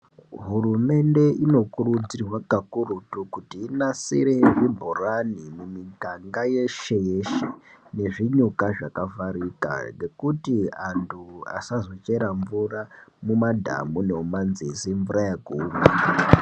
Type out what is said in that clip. Hurumende inokurudzirwa kakurutu kuti ,inasire zvibhorani mumiganga yeshe-yeshe, nezvinyuka zvakavharika ngekuti antu asazochera mvura mumadhamu nemumanzizi mvura yekumwa.